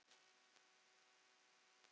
Sindri Besta númer?